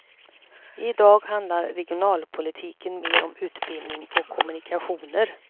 I dag handlar regionalpolitiken mera om utbildning och kommunikationer.